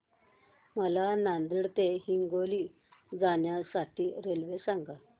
मला नांदेड ते हिंगोली जाण्या साठी रेल्वे सांगा